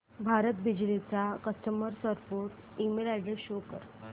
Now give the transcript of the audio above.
भारत बिजली चा customer support email address show कर